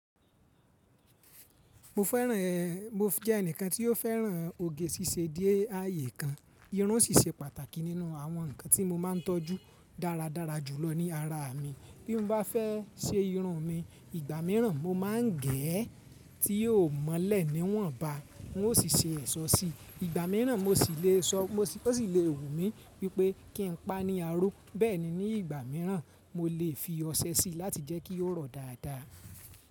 Mo fẹ́ràn, mo jẹ́ ẹnìkan tí ó fẹ́ràn oge ṣíṣe díè ààyè kan. Irun ṣíṣe pàtàkì nínú àwọn ǹkan tí mo máa ń tọ́jú dáradára jùlọ ní ara mi. Bí mo bá fẹ́ se irun mi, ìgbà míràn mo máa ń gé ẹ́ tí yóò mọ́lẹ̀ níwọ̀nba, wọn ó sì se èṣó sí i. Ìgbà míràn mo sì le sọ, ó sì le wù mí wípé kí n pa ní aró. Bẹ́ẹ̀ ni ní ìgbà míràn mo lè fi ọṣẹ sí i láti jẹ́ kí ó rọ̀ dáadáa.